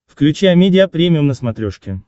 включи амедиа премиум на смотрешке